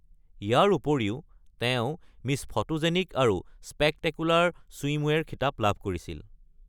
ইয়াৰ উপৰিও তেওঁ miss photogenic আৰু স্পেকটেকুলাৰ ছুইমৱেৰ খিতাপ লাভ কৰিছিল।